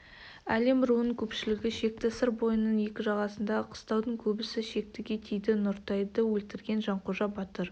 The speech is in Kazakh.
әлім руының көпшілігі шекті сыр бойының екі жағасындағы қыстаудың көбісі шектіге тиді нұртайды өлтірген жанқожа батыр